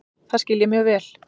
Það skil ég mjög vel.